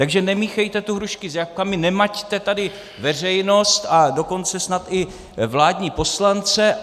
Takže nemíchejte tu hrušky s jablky, nemaťte tady veřejnost, a dokonce snad i vládní poslance.